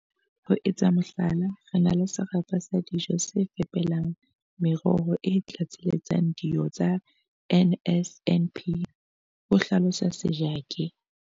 "Ho etsa mohlala, re na le serapa sa dijo se fepelang meroho e tlatseletsang dio tsa NSNP," ho hlalosa Sejake.